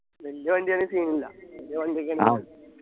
വലിയ വണ്ടി ആണെങ്ങി scene ഇല്ല വലിയ വണ്ടിയൊക്കെ